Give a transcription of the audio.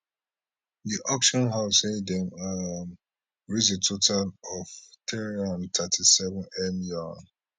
di auction house say dem um raised a total of three hundred and thirty seven m yuan